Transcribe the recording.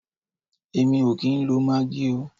Èmi o kìí ń lo maggi oo.